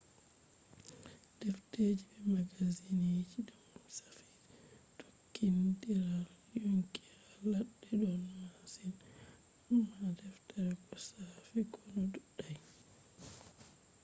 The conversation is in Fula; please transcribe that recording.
defteji be magazinji dum shafi tokkindiral yonki ha ladde don masin amma defte ko shafi konu dudai